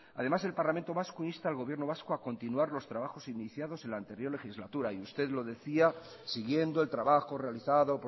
además el parlamento vasco insta al gobierno vasco a continuar los trabajos iniciados en la anterior legislatura y usted lo decía siguiendo el trabajo realizado